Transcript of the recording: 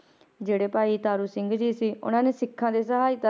ਜਿਹੜੇ ਭਾਈ ਤਾਰੂ ਸਿੰਘ ਜੀ ਸੀ, ਉਹਨਾਂ ਨੇ ਸਿੱਖਾਂ ਦੀ ਸਹਾਇਤਾ,